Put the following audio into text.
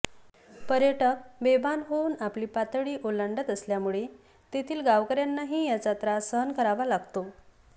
पर्यटक बेभान होऊन आपली पातळी ओलांडत असल्यामुळे तेथील गावकऱ्यांनाही याचा त्रास सहन करावा लागतो